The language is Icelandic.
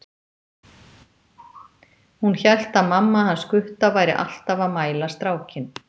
Hún hélt að mamma hans Gutta væri alltaf að mæla strákinn.